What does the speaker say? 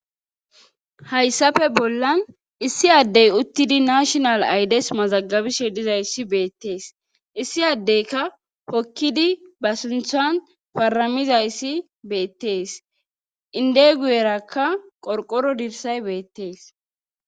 Hayssafe bollan issi addey uttidi nashonal aydes mazagabishe dizayssi beettees issi addeyka hokkidi ba sunthan paramizayssi beettees inde guyerakka qorqoro dirsay beettees.